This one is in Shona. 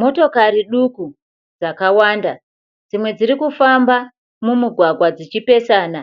Motokari duku dzakawanda, dzimwe dzirikufamba mumugwagwa dzichipesana